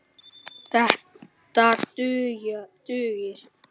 Þetta dugir.